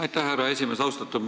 Aitäh, härra esimees!